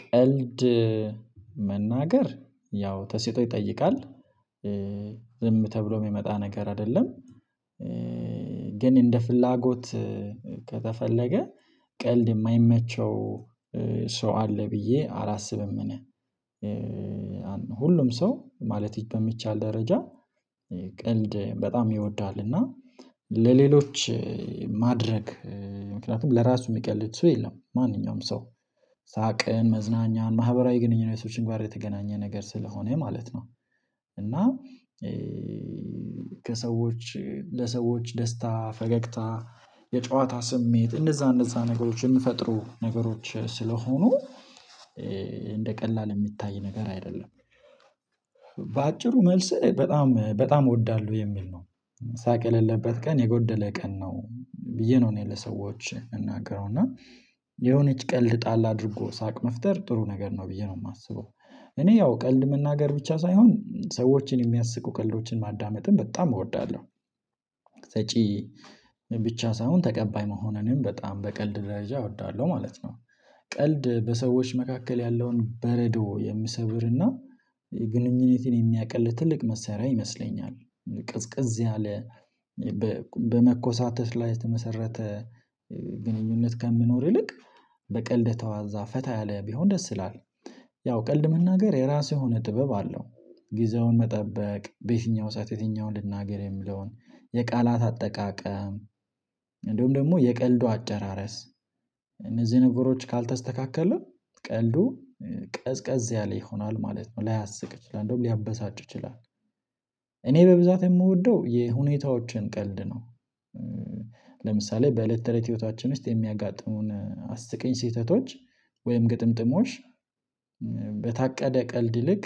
ቀልድ መናገር ያው ተሰጥኦ ይጠይቃል ዝም ተብሎ የሚመጣ ነገር አይደለም። ግን እንደ ፍላጎት ከተፈለገ ቀልድ የማይመቸው ሰው አለ ብዬ አላስብም እኔ። ሁሉም ሰው ማለት በሚቻል ደረጃ ቀልድ በጣም ይወዳልና ለሌሎች ማድረግ ምክንያቱም ለራሱ የሚቀልጥ ሰው የለም ማንኛውም ሰው ሳቅን መዝናኛን ማህበራዊ ግንኙነቶችን ጋር የተገናኘ ነገር ስለሆነ ማለት ነው። እና ከሰዎች ለሰዎች ደስታ ፈገግታ የጨዋታ ስሜት እንደዛ እንደዛ ነገሮች የምፈጥሩ ነገሮች ስለሆኑ እንደ ቀላል የሚታይ ነገር አይደለም። በአጭሩ መልስህ በጣም በጣም እወዳለሁ የሚል ነው። ሳቅ የሌለበት ቀን የጎደለ ቀን ነው። ብዬ ነው እኔ ለሰዎች የምናገረው እና የሆነች ቀልድ ጣል አድርጎ ሳቅ መፍጠር ጥሩ ነገር ነው ብዬ ነው የማስበው። እኔ ያው ቀልድ መናገር ብቻ ሳይሆን ሰዎችን የሚያስቁ ቀልዶችን ማዳመጥም በጣም እወዳለሁ። ሰጪ ብቻ ሳይሆን ተቀባይ መሆኑንም በጣም በቀልድ ደረጃ እወዳለሁ ማለት ነው። ቀልድ በሰዎች መካከል ያለውን በረዶ የሚሰብርና የግንኙነትን የሚያቀል ትልቅ መሳርያ ይመስለኛል። ቀዝቅዝ ያለ በመኮሳተር ላይ የተመሰረተ ግንኙነት ከሚኖር ይልቅ በቀልድ የተዋዛ ፈታ ያለ ቢሆን ደስ ይላል። ያው ቀልድ መናገር የራሱ የሆነ ጥበብ አለው ጊዜውን መጠበቅ በየትኛው ሰዓት የትኛውን ልናገር የምለውን የቃላት አጠቃቀም እንደውም ደግሞ የቀልዱ አጨራረስ እነዚህ ነገሮች ካልተስተካከለ ቀልዱ ቀዝቀዝ ያለ ይሆናል ማለት ነው ላያስቅ ይችላል እንደውም ሊያበሳጭ ይችላል። እኔ በብዛት የምወደው የሁኔታዎችን ቀልድ ነው። ለምሳሌ በእለት ተለይ ህይወታችን ውስጥ የሚያጋጥሙን አስቀኝ ስህተቶች ወይም ግጥምጥሞሽ በታቀደ ቀልድ ይልቅ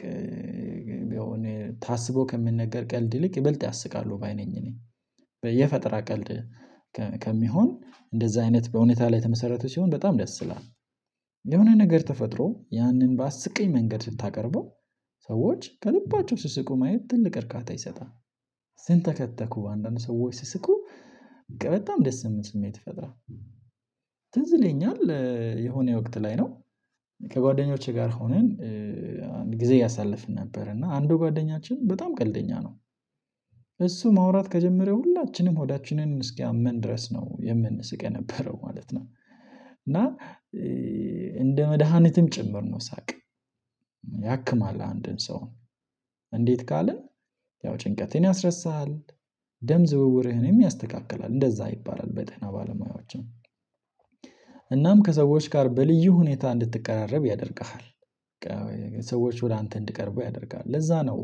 ያው እኔ ታስቦ ከሚንነገር ቀልድ ይልቅ ይበልጥ ያስቃሉ ባይ ነኝ ነኝ። በየፈጠራ ቀልድ ከሚሆን እንደዛ አይነት በሁኔታ ላይ የተመሰረቱ ሲሆን በጣም ደስ ይላል። የሆነ ነገር ተፈጥሮ ያንን ባስቂኝ መንገድ ስታቀርበው ሰዎች ከልባቸው ሲስቁ ማየት ትልቅ እርካታ ይሰጣል። ሲንተከተኩ አንዳንድ ሰዎች ሲስቁ በጣም ደስ የምን ስሜት ይፈጥራል። ትዝ ይለኛል የሆነ ወቅት ላይ ነው ከጓደኞቼ ጋር ሆነን ጊዜ እያሳለፍን ነበር እና አንዱ ጓደኛችን በጣም ቀልደኛ ነው። እሱ ማውራት ከጀመረ ሁላችንም ሆዳችንን እስኪያመን ድረስ ነው የምንስቅ የነበረው ማለት ነው። እና እንደ መድሃኒትም ጭምር ነው ሳቅ ያክማል አንድን ሰው እንዴት ካልን ያው ጭንቀትን ያስረሳል። ደም ዝውውርህንም ያስተካክላል እንደዛ ይባላል በጤና ባለሙያዎች። እናም ከሰዎች ጋር በልዩ ሁኔታ እንድትቀራረብ ያደርግሃል። ሰዎች ወደ አንተ እንድቀርበው ያደርግሃል ለዛ ነው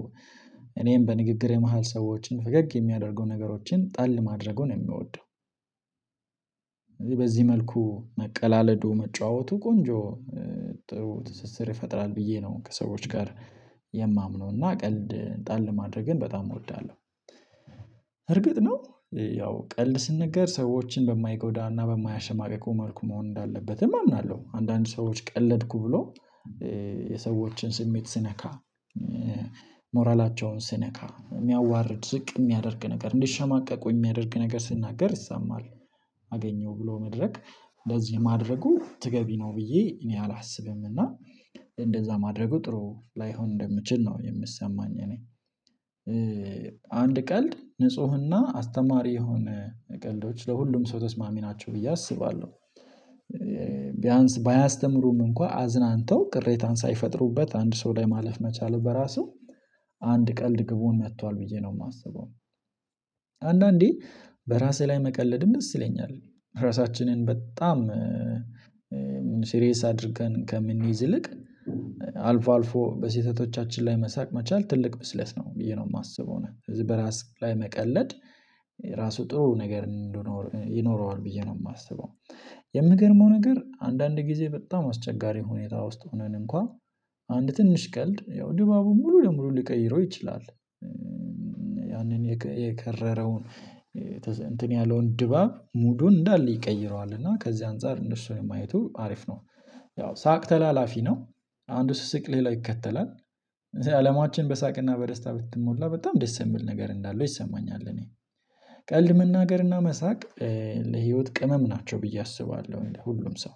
እኔም በንግግር የመሃል ሰዎችን ፈገግ የሚያደርገውን ነገሮችን ጣል ማድረጉን የምወደው። በዚህ መልኩ መቀላለዱ መጫወቱ ቆንጆ ጥሩ ትስስር ይፈጥራል ብዬ ነው ከሰዎች ጋር የማምነው እና ቀልድ ጣል ማድረግን በጣም እወዳለሁ እርግጥ ነው። ያው ቀልድ ስንነገር ሰዎችን በማይጎዳና በማያሸማቅቁ መልኩ መሆን እንዳለበትም አምናለሁ። አንዳንድ ሰዎች ቀለድኩ ብለው የሰዎችን ስሜት ሲነካ ሞራላቸውን ሲነካ የሚያዋርድ ዝቅ የሚያደርግ ነገር እንዲሸማቀቁ የሚያደርግ ነገር ሲናገር ይሰማል። አገኘው ብሎ መድረክ ለዚህ ማድረጉ ትገቢ ነው ብዬ እኔ አላስብም እና እንደዛ ማድረጉ ጥሩ ላይሆን እንደምችል ነው የምሰማኝ እኔ። አንድ ቀልድ ንፁህና አስተማሪ የሆነ ቀልዶች ለሁሉም ሰው ተስማሚ ናቸው ብዬ አስባለሁ። ቢያንስ ባያስተምሩም እንኳን አዝናንተው ቅሬታን ሳይፈጥሩበት አንድ ሰው ላይ ማለፍ መቻል በራሱ አንድ ቀልድ ግቡን መቷል ብዬ ነው የማስበው። አንዳንዴ በራሴ ላይ መቀለድ ደስ ይለኛል። ራሳችንን በጣም ሲሪየስ አድርገን ከምንይዝ ይልቅ አልፎ አልፎ በስህተቶቻችን ላይ መሳቅ መቻል ትልቅ ብስለት ነው ብዬ ነው የማስበው ነው። ስለዚህ በራስ ላይ መቀለድ ራሱ ጥሩ ነገር እንደሆነ ይኖረዋል ብዬ ነው የማስበው። የሚገርመው ነገር አንዳንድ ጊዜ በጣም አስቸጋሪ ሁኔታ ውስጥ ሆነን እንኳን አንድ ትንሽ ቀልድ ያው ድባቡን ሙሉ ለሙሉ ሊቀይረው ይችላል። ያንን የከረረውን እንትን ያለውን ድባብ ሙዱን እንዳለ ይቀይረዋል እና ከዚህ አንፃር እንደሱ ነው የማየቱ አሪፍ ነው። ያው ሳቅ ተላላፊ ነው። አንድ ሲስቅ ሌላ ይከተላል። አለማችን በሳቅና በደስታ ብትሞላ በጣም ደስ የምል ነገር እንዳለው ይሰማኛል እኔ። ቀልድ መናገርና መሳቅ ለህይወት ቅመም ናቸው ብዬ አስባለሁ። እኔ ለሁሉም ሰው